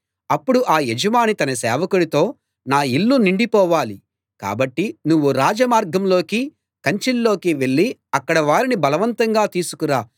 అప్పుడు ఆ యజమాని తన సేవకుడితో నా ఇల్లు నిండిపోవాలి కాబట్టి నువ్వు రాజ మార్గాల్లోకీ కంచెల్లోకీ వెళ్లి అక్కడి వారిని బలవంతంగా తీసుకురా